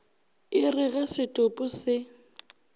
e re ge setopo se